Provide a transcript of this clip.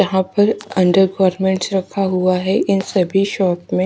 यहां पे under garments रखा हुआ है इन सभी शॉप में--